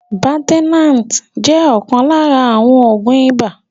Baltenart jẹ́ ọ̀kan lára àwọn Oògún ibà